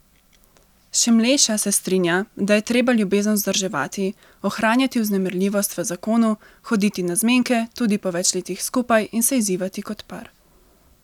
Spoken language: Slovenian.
Šimleša se strinja, da je treba ljubezen vzdrževati, ohranjati vznemirljivost v zakonu, hoditi na zmenke tudi po več letih skupaj in se izzivati kot par.